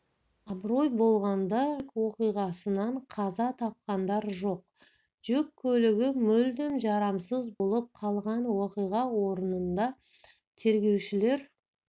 абырой болғанда жол-көлік оқиғасынан қаза тапқандар жоқ жүк көлігі мүлдем жарамсыз болып қалған оқиға орнында тергеушілер